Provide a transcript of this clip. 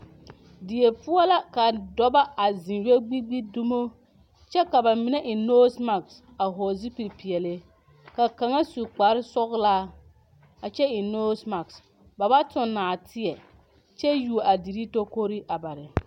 Die poɔ la ka dɔba a ziŋ yɛ gbigbi dumo kyɛ ka ba mine eŋ nosi maki a hɔɔli zupili peɛli ka kaŋa su kpare sɔglaa kyɛ eŋ nosi maki ba ba tuŋ nɔɔteɛ kyɛ yuori a deri tokori a ba .